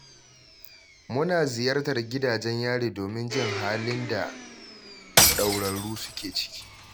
Muna ziyartar gidajen yari domin jin halin da ɗaurarru suke ciki.